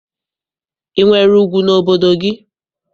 I nwere ugwu n'obodo gị?